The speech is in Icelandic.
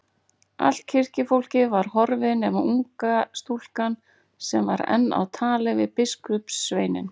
Allt kirkjufólkið var horfið nema unga stúlkan sem var enn á tali við biskupssveininn.